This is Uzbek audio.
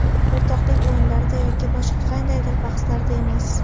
O‘rtoqlik o‘yinlarida yoki boshqa qandaydir bahslarda emas.